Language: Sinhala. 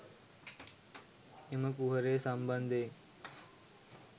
එම කුහරය සම්බන්ධයෙන්